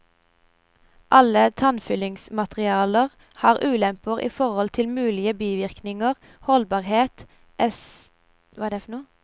Alle tannfyllingsmaterialer har ulemper i forhold til mulige bivirkninger, holdbarhet, estetikk, kostnad etc.